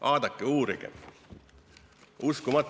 Vaadake ja uurige, uskumatu!